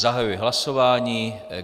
Zahajuji hlasování.